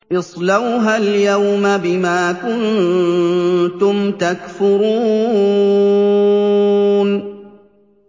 اصْلَوْهَا الْيَوْمَ بِمَا كُنتُمْ تَكْفُرُونَ